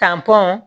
Tan tɔn